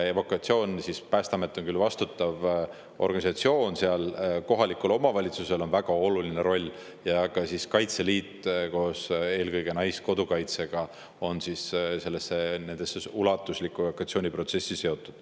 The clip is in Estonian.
Päästeamet on küll vastutav organisatsioon, aga kohalikul omavalitsusel on väga oluline roll ja ka Kaitseliit koos Naiskodukaitsega on selle ulatusliku evakuatsiooniprotsessiga seotud.